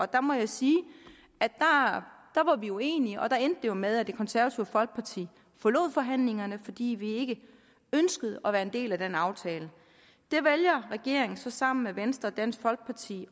der må jeg sige vi var uenige og der endte det jo med at det konservative folkeparti forlod forhandlingerne fordi vi ikke ønskede at være en del af den aftale det vælger regeringen så sammen med venstre og dansk folkeparti